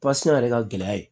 pase yɛrɛ ka gɛlɛya ye